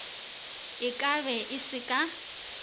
e kabe e se ka